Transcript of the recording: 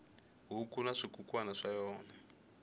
huku na swikukwana swa yona